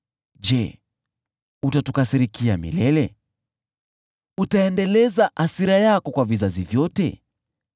Je, utatukasirikia milele? Utaendeleza hasira yako kwa vizazi vyote?